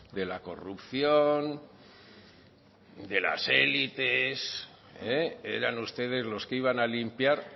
de la corrupción de las élites eran ustedes los que iban a limpiar